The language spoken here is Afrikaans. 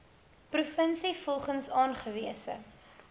provinsie volgens aangewese